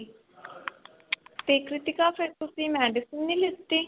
ਤੇ ਕ੍ਰਿਤੀਕਾ ਫਿਰ ਤੁਸੀਂ medicine ਨਹੀਂ ਲਿੱਤੀ